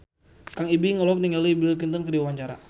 Kang Ibing olohok ningali Bill Clinton keur diwawancara